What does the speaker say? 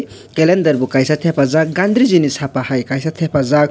kalender bo kaisa thepajak gandriji ni Sapa hai thepa jak.